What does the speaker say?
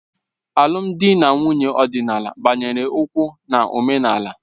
Alụmdi na nwunye ọdịnala gbanyere ukwuu na omenala